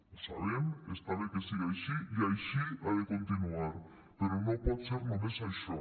ho sabem està bé que siga així i així ha de continuar però no pot ser només això